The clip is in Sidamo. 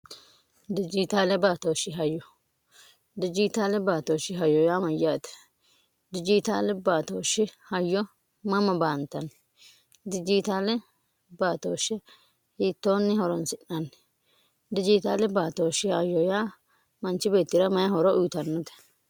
dijiitaale baatooshi hayyo dhijiitaale baatooshi hayoo yaa mayyaate dhijitaali baatooshshi hayyo mama baantanni dijiitaale baatooshshi hiittoonni horansi'naanni dijiitaali baatooshi hayooyaa manchi beetti'ra mayi horo uyitannote